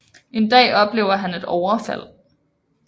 En dag oplever han et overfald